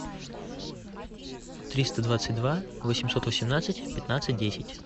триста двадцать два восемьсот восемнадцать пятнадцать десять